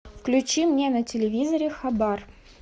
включи мне на телевизоре хабар